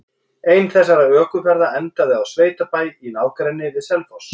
Ein þessara ökuferða endaði á sveitabæ í nágrenni við Selfoss.